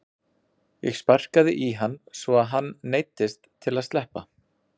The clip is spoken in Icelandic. Ég sparkaði í hann svo að hann neyddist til að sleppa.